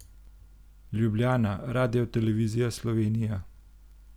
Ljubljana, Radiotelevizija Slovenija.